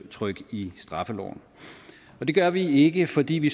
i straffeloven og det gør vi ikke fordi vi